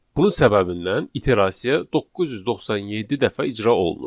Bunun səbəbindən iterasiya 997 dəfə icra olunur.